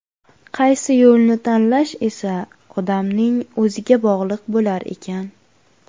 Qaysi yo‘lni tanlash esa odamning o‘ziga bog‘liq bo‘lar ekan.